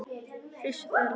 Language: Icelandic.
Flysjið þær þá fyrir suðu.